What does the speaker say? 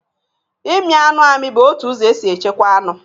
Ịmị anụ amị bụ otu ụzọ e si echekwa anụ.